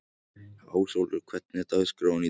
Ásólfur, hvernig er dagskráin í dag?